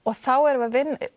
þá erum við